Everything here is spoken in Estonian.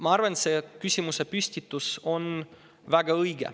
Ma arvan, et see küsimusepüstitus on väga õige.